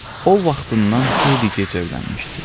O vaxtından xeyli gec evlənmişdi.